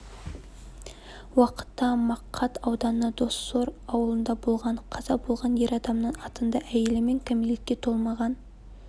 уақытта мақат ауданы доссор ауылында болған қаза болған ер адамның атында әйелі мен кәмелетке толмаған